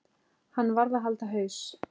Hann varð að halda haus.